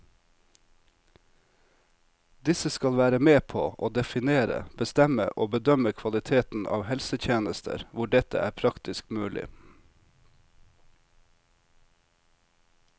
Disse skal være med på å definere, bestemme og bedømme kvaliteten av helsetjenester hvor dette er praktisk mulig.